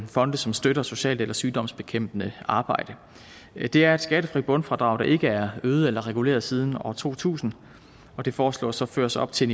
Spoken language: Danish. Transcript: fonde som støtter socialt eller sygdomsbekæmpende arbejde det er et skattefrit bundfradrag der ikke er øget eller reguleret siden år to tusind og det foreslås så ført op til